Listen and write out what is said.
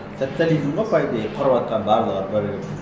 социализм ғой по идее құрыватқан барлығы бірігіп